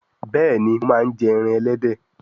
Béèni mọ má njẹ èràn elédè